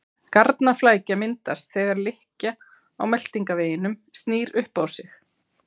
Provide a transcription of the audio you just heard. Garnaflækja myndast þegar lykkja á meltingarveginum snýr upp á sig.